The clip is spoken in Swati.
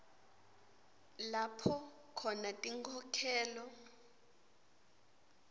lapho khona tinkhokhelo